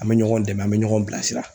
An bɛ ɲɔgɔn dɛmɛ an bɛ ɲɔgɔn bilasira